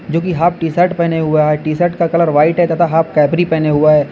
जो की half T shirt पेहने हुआ है टी शर्ट का कलर व्हाइट तथा हाफ कैपरी पेहने हुआ है।